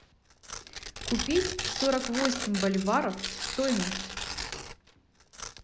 купить сорок восемь боливаров стоимость